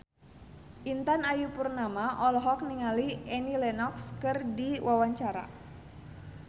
Intan Ayu Purnama olohok ningali Annie Lenox keur diwawancara